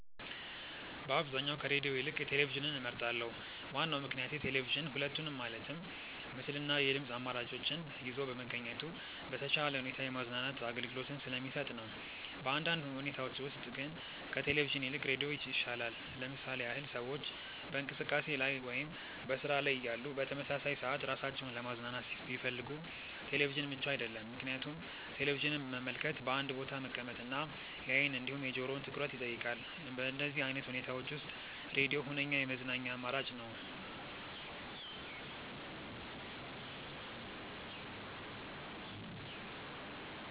በአብዛኛው ከሬድዮ ይልቅ ቴሌቪዥንን እመርጣለሁ። ዋናው ምክንያቴ ቴሌቪዥን ሁለቱንም ማለትም ምስል እና የድምጽ አማራጮችን ይዞ በመገኘቱ በተሻለ ሁኔታ የማዝናናት አገልግሎትን ስለሚሰጥ ነው። በአንዳንድ ሁኔታዎች ውስጥ ግን ከቴሌቪዥን ይልቅ ሬዲዮ ይሻላል። ለምሳሌ ያህል ሰዎች በእንቅስቃሴ ላይ ወይም በስራ ላይ እያሉ በተመሳሳይ ሰዓት ራሳቸውን ለማዝናናት ቢፈልጉ ቴሌቪዥን ምቹ አይደለም፤ ምክንያቱም ቴሌቪዥንን መመልከት በአንድ ቦታ መቀመጥ እና የአይን እንዲሁም የጆሮውን ትኩረት ይጠይቃል። በእንደዚህ አይነት ሁኔታዎች ውስጥ ሬድዮ ሁነኛ የመዝናኛ አማራጭ ነው።